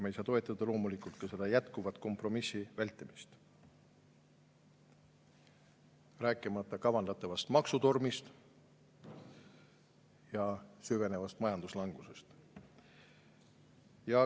Me ei saa loomulikult toetada jätkuvat kompromissi vältimist, rääkimata kavandatavast maksutormist ja süvenevast majanduslangusest.